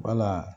Wala